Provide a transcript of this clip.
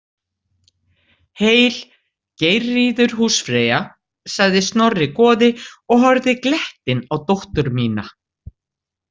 Heil, Geirríður húsfreyja, sagði Snorri goði og horfði glettinn á dóttur mína.